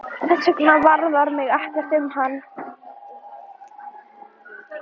Þessvegna varðar mig ekkert um hann.